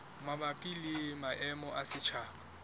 mabapi le maemo a setjhaba